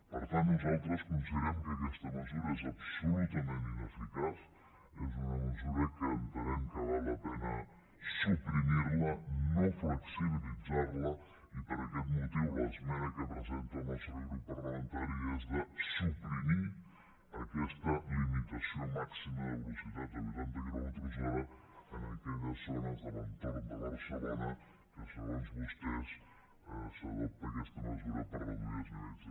per tant nosaltres considerem que aquesta mesura és absolutament ineficaç és una mesura que entenem que val la pena suprimir la no flexibilitzar la i per aquest motiu l’esmena que presenta el nostre grup parlamentari és de suprimir aquesta limitació màxima de velocitat a vuitanta quilòmetres hora en aquelles zones de l’entorn de barcelona que segons vostès s’adopta aquesta mesura per reduir els nivells de contaminació